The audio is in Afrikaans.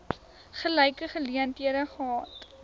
gelyke geleenthede gehad